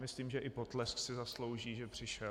Myslím, že i potlesk si zaslouží, že přišel.